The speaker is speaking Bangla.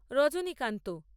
রজনীকান্ত